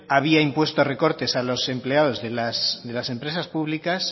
había impuesto recortes a los empleados de las empresas públicas